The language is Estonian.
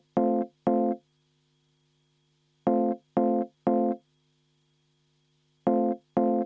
Palun võtta seisukoht ja hääletada!